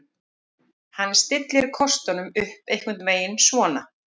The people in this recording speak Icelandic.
Hann stillir kostunum upp einhvern veginn svona: